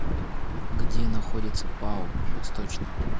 где находится пао восточный